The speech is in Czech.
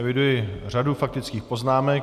Eviduji řadu faktických poznámek.